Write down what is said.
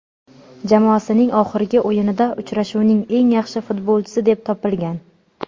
Jamoasining oxirgi o‘yinida uchrashuvning eng yaxshi futbolchisi deb topilgan.